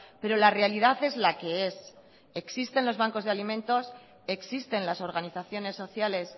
pero la realidad es la que es existen los bancos de alimentos existen las organizaciones sociales